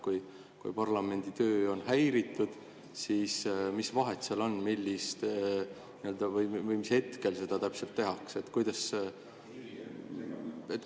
Kui parlamendi töö on häiritud, siis mis vahet seal on, mis hetkel seda täpselt tehakse?